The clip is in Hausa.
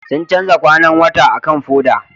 Sun canza kwanan wata akan foda